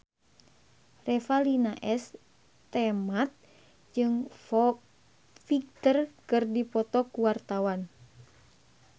Revalina S. Temat jeung Foo Fighter keur dipoto ku wartawan